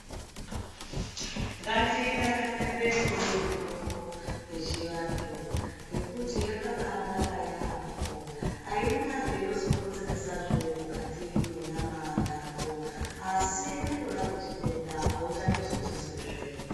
Ngatidakarire kumwe mitombo yechivantu , ngekuti yakabaanaka yaampho. Aina zveinozokonzeresazve mukati mwenyama yako, asi yatorape chitenda auchatozochizwizve.